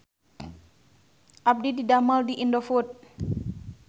Abdi didamel di Indofood